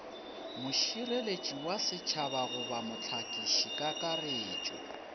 mošireletši wa setšhaba goba mohlakišikakaretšo